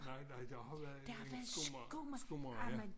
Nej nej der var været en skomager skomager ja